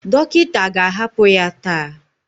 Dọkịta ga-ahapụ ya taa